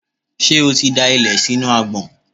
Ṣé o ti da ilẹ̀ sínú agbọ̀n?